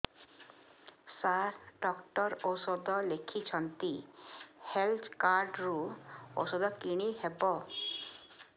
ସାର doctor ଔଷଧ ଲେଖିଛନ୍ତି health card ରୁ ଔଷଧ କିଣି ହେବ